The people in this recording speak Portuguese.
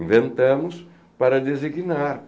Inventamos para designar.